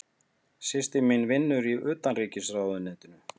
Systir mín vinnur í Utanríkisráðuneytinu.